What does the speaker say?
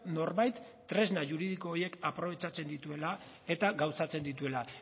norbait tresna juridiko horiek aprobetxatzen dituela eta gauzatzen dituela